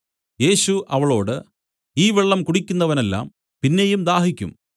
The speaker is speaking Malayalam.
യേശു അവളോട് ഈ വെള്ളം കുടിക്കുന്നവനെല്ലാം പിന്നെയും ദാഹിക്കും